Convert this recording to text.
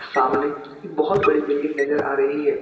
सामने एक बहुत बड़ी बिल्डिंग नजर आ रही है।